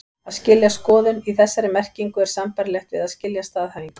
Að skilja skoðun, í þessari merkingu, er sambærilegt við að skilja staðhæfingu.